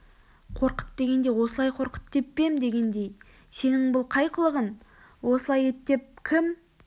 қорқыт дегенде осылай қорқыт деп пе ем дегендей сенің бұл қай қылығың осылай ет деп кім